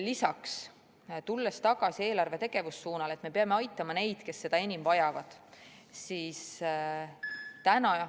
Lisaks, tulles tagasi eelarve tegevussuuna juurde, et me peame aitama neid, kes seda enim vajavad, siis täna ...